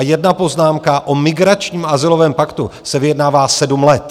A jedna poznámka: o migračním azylovém paktu se vyjednává sedm let.